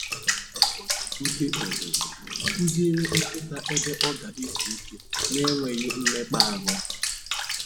O ji ute ọzụzụ kụziere nkịta ebe ọ ga-ezu ike na-enweghị mmekpa ahụ